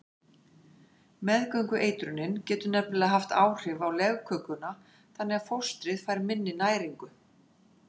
Meðgöngueitrunin getur nefnilega haft áhrif á legkökuna þannig að fóstrið fær minni næringu.